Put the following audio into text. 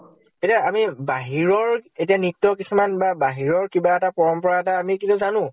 এতিয়া আমি বাহিৰৰ এতিয়া নৃত্য় কিছুমান বা বাহিৰৰ কিবা এটা পৰম্পৰা এটা আমি কিন্তু জানো।